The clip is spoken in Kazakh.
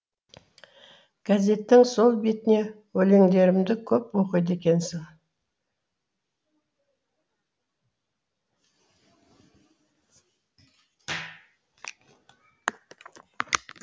газеттің сол бетіне өлеңдерімді көп оқиды екенсің